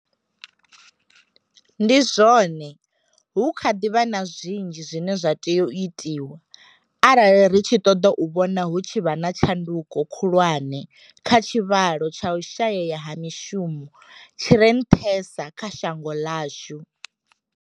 Ndi zwone, hu kha ḓi vha na zwinzhi zwine zwa tea u itwa arali ri tshi ṱoḓa u vhona hu tshi vha na tshanduko khulwane kha tshivhalo tsha u shayea ha mishumo tshi re nṱhesa kha shango ḽashu.